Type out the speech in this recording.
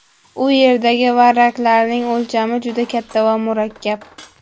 U yerdagi varraklarning o‘lchami juda katta va murakkab.